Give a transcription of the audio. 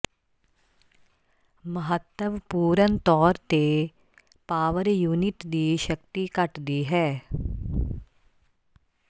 ਮਹੱਤਵਪੂਰਨ ਤੌਰ ਤੇ ਪਾਵਰ ਯੂਨਿਟ ਦੀ ਸ਼ਕਤੀ ਘਟਦੀ ਹੈ